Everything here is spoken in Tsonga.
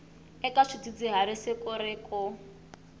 eka swidzidziharisi ku ri ku